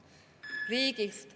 Riigis …